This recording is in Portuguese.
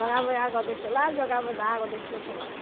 Jogava água desse lado, jogava da água desse outro lado.